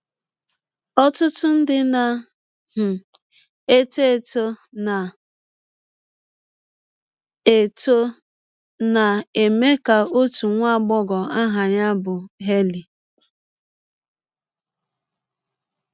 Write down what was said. Ọtụtụ ndị na um - etọ etọ na - etọ na - eme ka ọtụ nwa agbọghọ aha ya bụ Hailey.